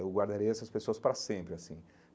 Eu guardarei essas pessoas para sempre assim.